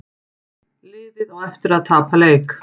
Liðið á eftir að tapa leik